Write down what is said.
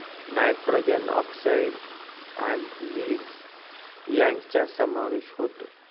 nitrogen oxide आणि lead यांचा समावेश होतो